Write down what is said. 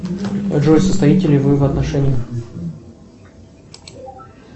джой состоите ли вы в отношениях